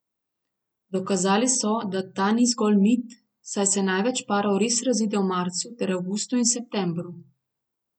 Dokazali so, da ta ni zgolj mit, saj se največ parov res razide v marcu ter avgustu in septembru.